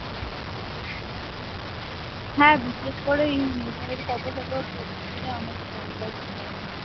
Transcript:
হ্যাঁ বিশেষ করে মিঠাইয়ের photo photo post করলে অনেক followers বাড়ে আমি শুনেছি ।